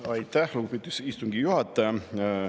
Aitäh, lugupeetud istungi juhataja!